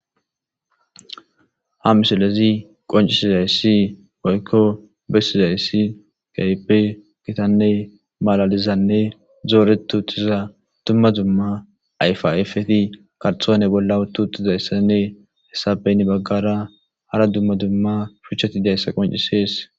Ha misolezi qoncisizayssi boykko bessizayssi kaype kitanne malalizanne zooretu utiza dumma dumma ayfa afeti karxoone bolla wu tu uxizayssanne hessabeyn baggara hara dumma dumma shuchchati dayssa qoncisees.